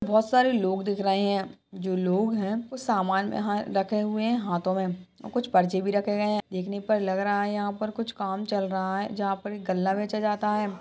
बहुत सारे लोग दिख रहे हैं जो लोग हैं वह सामान वहा रखे हुए हैं हाथों में और कुछ पर्ची भी रखी है देखने में लग रहा है यहाँ पर कुछ काम चल रहा है जहा पर एक गल्ला बेचा जाता है।